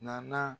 Nana